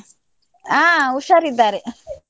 ಆ ಹುಷಾರಿದ್ದಾರೆ.